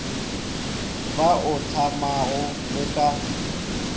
ba o hlamago le ka